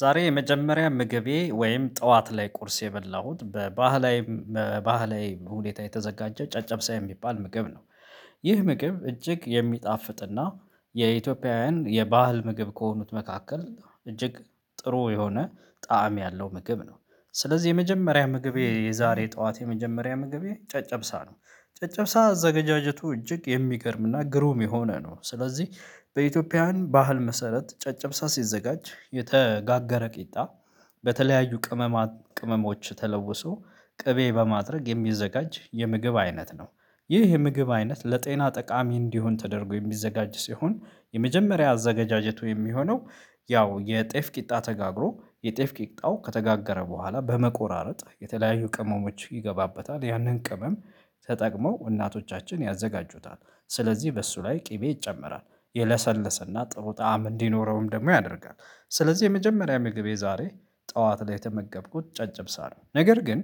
ዛሬ የመጀመሪያ ምግቤ ወይም ጠዋት ላይ ቁርስ የበላሁት በባህላዊ በባህላዊ ሁኔታ የተዘጋጀ ጨጨብሳ የሚባል ምግብ ነው። ይህ ምግብ እጅግ የሚጣፍጥና የኢትዮጵያውያን የባህል ምግብ ከሆኑት መካከል እጅግ ጥሩ የሆነ ጣዕም ያለው ምግብ ነው። ስለዚህ የመጀመሪያ ምግቤ የዛሬ ጠዋት የመጀመሪያ ምግቤ ጨጨብሳ ነው። ጨጨብሳ አዘጋጀቱ እጅግ የሚገርምና ግሩም የሆነ ነው ስለዚህ በኢትዮጵያውያን ባህል መሰረት ጨጨብሳ ሲዘጋጅ የተጋገረ ቂጣ በተለያዩ ቅመማ ቅመሞች ተለውሶ ቅቤ በማድረግ የሚዘጋጅ የምግብ አይነት ነው። ይህ የምግብ አይነት ለጤና ጠቃሚ እንዲሆን ተደርጎ የሚዘጋጅ ሲሆን የመጀመሪያ አዘጋጃጀቱ የሚሆነው ያው የጤፍ ቂጣ ተጋግሮ የጤፍ ቂጣው ከተጋገረ በኋላ በመቆራረጥ የተለያዩ ቅመሞች ይገባበታል ያንን ቅመም ተጠቅመው እናቶቻችን ያዘጋጁታል። ስለዚህ በእሱ ላይ ቅቤ ይጨመራል የለሰለሰና ጥሩ ጣዕም እንዲኖረውም ደግሞ ያደርጋል። ስለዚህ የመጀመሪያ ምግቤ ዛሬ ጠዋት ላይ የተመገብኩት ጨጭብ ሳለሁ ነገር ግን